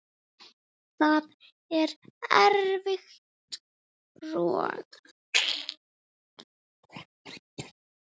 Það er eilíft rok.